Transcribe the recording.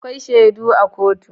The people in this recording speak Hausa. Akwai shaidu a kotu.